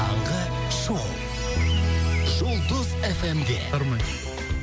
таңғы шоу жұлдыз эф эм де